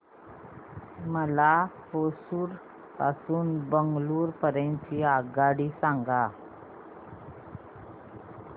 मला होसुर पासून तर बंगळुरू पर्यंत ची रेल्वेगाडी सांगा